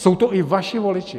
Jsou to i vaši voliči.